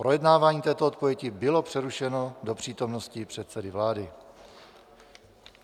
Projednávání této odpovědi bylo přerušeno do přítomnosti předsedy vlády.